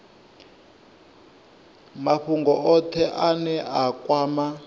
mafhungo othe ane a kwama